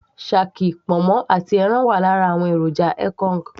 shaki, ponmo àti ẹran wà lára àwọn èròjà ekong